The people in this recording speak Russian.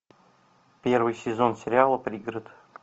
первый сезон сериала пригород